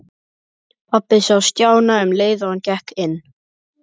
Pabbi sá Stjána um leið og hann gekk inn.